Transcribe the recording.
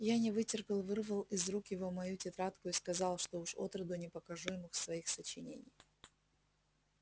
я не вытерпел вырвал из рук его мою тетрадку и сказал что уж отроду не покажу ему своих сочинений